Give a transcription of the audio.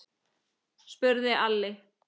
spurði Alli.